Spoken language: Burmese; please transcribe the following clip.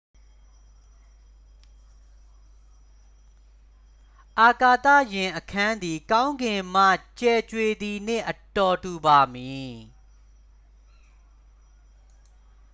အာကာသယာဉ်အခန်းသည် ကောင်းကင်မှ ကြယ်ကြွေသည်နှင့် အတော်တူပါမည်